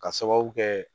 Ka sababu kɛ